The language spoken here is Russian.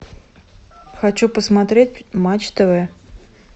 хочу посмотреть матч тв